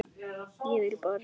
Ég vil bara segja það.